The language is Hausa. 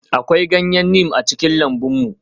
Akwai ganyen neem a cikin lambun mu.